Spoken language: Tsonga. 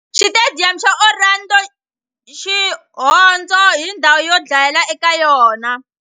Xitediyamu xa Orlando, Xihondzo ni ndhawu yo dlayela eka yona.